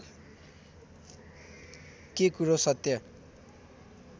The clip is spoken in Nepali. के कुरो सत्य